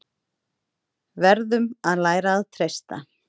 Verðum að læra að treysta